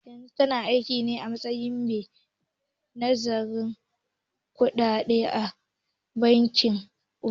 Yanzu tana aikine a matsayin mai nazartar kuɗaɗe a bankin Union.